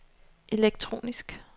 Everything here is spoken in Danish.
elektronisk